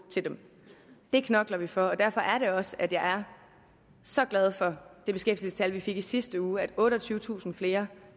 det knokler vi for derfor er det også at jeg er så glad for det beskæftigelsestal vi fik i sidste uge nemlig at otteogtyvetusind flere